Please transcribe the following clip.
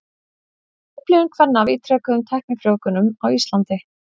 Upplifun kvenna af ítrekuðum tæknifrjóvgunum á Íslandi.